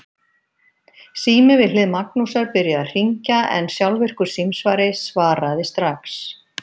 Sími við hlið Magnúsar byrjaði að hringja en sjálfvirkur símsvari svaraði strax.